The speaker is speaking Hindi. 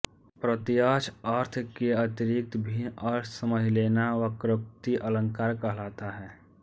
प्रत्यक्ष अर्थ के अतिरिक्त भिन्न अर्थ समझ लेना वक्रोक्ति अलंकार कहलाता है